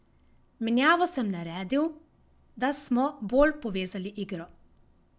Menjavo sem naredil, da smo bolj povezali igro.